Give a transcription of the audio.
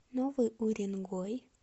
новый уренгой